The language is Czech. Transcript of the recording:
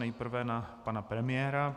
Nejprve na pana premiéra.